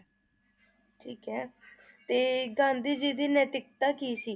ਠੀਕ ਏ ਤੇ ਗਾਂਧੀ ਜੀ ਦੀ ਨੈਤਿਕਤਾ ਕੀ ਸੀ?